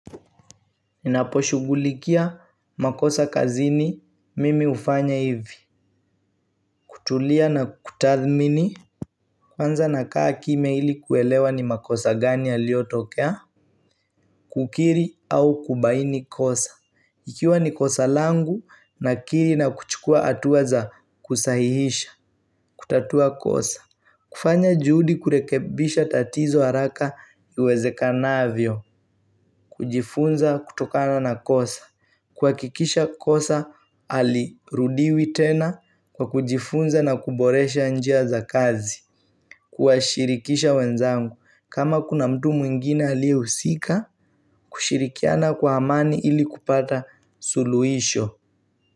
Ninaposhughulikia makosa kazini mimi hufanya hivi kutulia na kutathmini Kwanza nakaa kimya ili kuelewa ni makosa gani yaliyotokea Kukiri au kubaini kosa Ikiwa ni kosa langu nakiri na kuchukua hatua za kusahihisha kutatua kosa kufanya juhudi kurekebisha tatizo haraka iwezekanavyo kujifunza kutokana na kosa kuhakikisha kosa halirudiwi tena kwa kujifunza na kuboresha njia za kazi Kuwashirikisha wenzangu kama kuna mtu mwingine aliyehusika kushirikiana kwa amani ili kupata suluhisho.